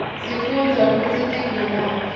sifunbza kutsi tiveladhi